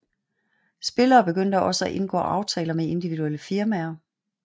Spillere begyndte også at indgå aftaler med individuelle firmaer